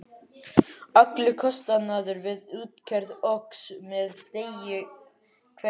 Allur kostnaður við útgerð óx með degi hverjum.